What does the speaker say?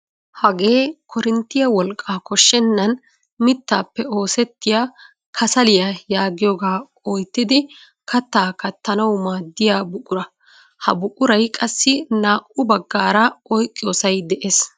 Hagee korinttiyaa wolqqaa koshshenaan mittaappe oosettiyaa kasaliyaa yaagiyoogaa oyttidi kaattaa kaattanawu maaddiyaa buqura. Ha buquray qassi naa"u baggaara oyqqiyoosay de'ees.